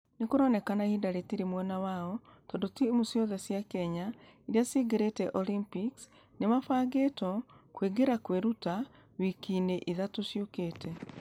Nũ kũroneka ihinda rĩtire mwena wao tũndũ timũ ciothe cia kenya iria iria cingerete olympics nĩmabangĩtwo kũingĩra kwĩruta gwa....wiki-inĩ ithatũ ciokĩte.